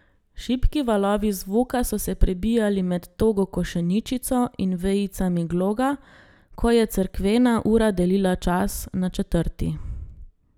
Šibki valovi zvoka so se prebijali med togo košeničico in vejicami gloga, ko je cerkvena ura delila čas na četrti.